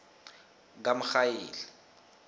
kamrhayili